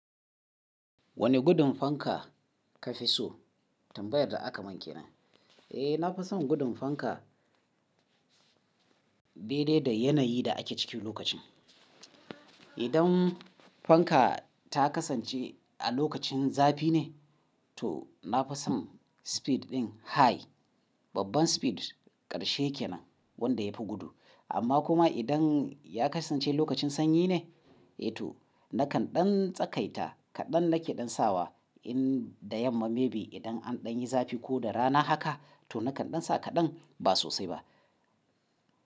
Wane gudun fanka ka fi so? Tambayar da aka mun kenan Eh, na fi son gudun fanka, daidai da yanayi da ake ciki lokacin. Idan fanka ta kasance a lokacin zafi ne, to na fi son speed ɗin high, babban speed karshe ke nan wanda ya fi gudu. Amma kuma idan ya kasance lokacin sanyi ne, eh to nakan ɗan tsakaita kaɗan nake ɗan sawa in da yamma maybe idan an ɗan yi zafi ko da rana haka to nakan ɗan sa kaɗan ba sosai ba.